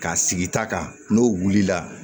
K'a sigi ta kan n'o wulila